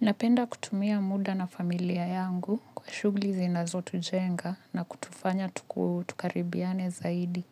Napenda kutumia muda na familia yangu kwa shughuli zinazotujenga na kutufanya tukaribiane zaidi.